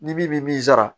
Ni min bi min sara